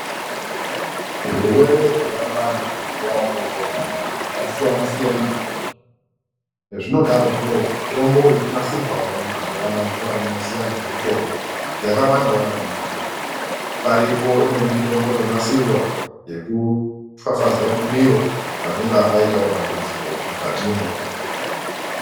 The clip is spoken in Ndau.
Zvirwere zvobata vantu mazuva otopona anaa, zvasiyana-siyana maningi. Zvinodarozvo, mitomboyo yotonasirwawo mazuvanaya ngevanoziya nezvemutombo yakawandawo maningi. Paripo imweni mitombo yonasirwa yekupfapfazeya mumiro, panonga paitawo dambudziko mukatimwo.